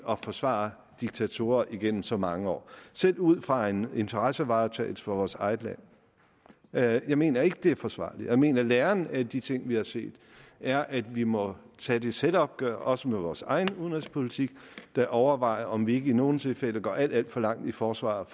at forsvare diktatorer igennem så mange år selv ud fra en interessevaretagelse for vores eget land jeg jeg mener ikke at det er forsvarligt jeg mener at læren af de ting vi har set er at vi må tage det selvopgør også med vores egen udenrigspolitik og bør overveje om ikke vi i nogle tilfælde går alt alt for langt i forsvaret